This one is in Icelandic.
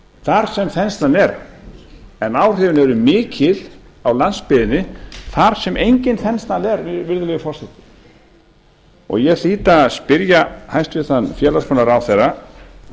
þar sem þenslan er en áhrifin eru mikil á landsbyggðinni þar sem engin þensla er virðulegi forseti ég hlýt að spyrja hæstvirtan félagsmálaráðherra